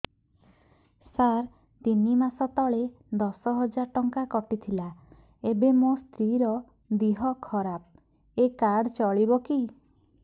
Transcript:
ସାର ତିନି ମାସ ତଳେ ଦଶ ହଜାର ଟଙ୍କା କଟି ଥିଲା ଏବେ ମୋ ସ୍ତ୍ରୀ ର ଦିହ ଖରାପ ଏ କାର୍ଡ ଚଳିବକି